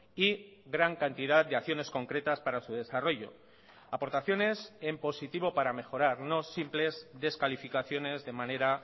y gran cantidad de acciones concretas para su desarrollo aportaciones en positivo para mejorar no simples descalificaciones de manera